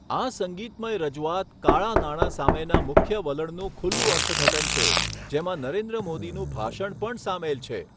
આ સંગીતમય રજૂઆત કાળા નાણાં સામેના મુખ્ય વલણનું ખુલ્લું અર્થઘટન છે, જેમાં નરેન્દ્ર મોદીનું ભાષણ પણ સામેલ છે.